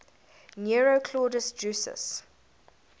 nero claudius drusus